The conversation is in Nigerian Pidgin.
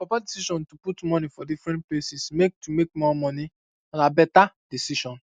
our papa decision to put money for different places make to make more money na na better decision